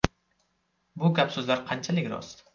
Bu gap-so‘zlar qanchalik rost?